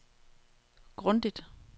grundigt